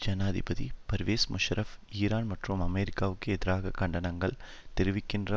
ஜனாதிபதி பர்வேஸ் முஷாரப் ஈரான் மற்றும் அமெரிக்காவிற்கு எதிராக கண்டனங்கள் தெரிவிக்கின்ற